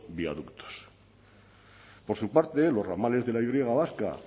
viaductos por su parte los ramales de la y griega vasca